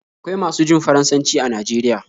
Akwai masu jin Faransanci are Najeriya